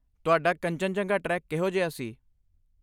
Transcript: ਤੁਹਾਡਾ ਕੰਚਨਜੰਗਾ ਟ੍ਰੈਕ ਕਿਹੋ ਜਿਹਾ ਸੀ?